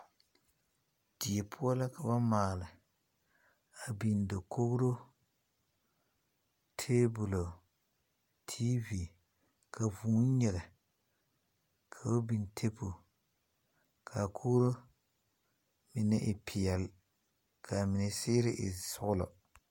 Die poʊ la ka ba maale. A biŋ dakogro, tabulo, tv. Ka vuu nyiŋe. K'o biŋ tabule. Ka a kogro e piɛle ka a mene siire e sɔglɔ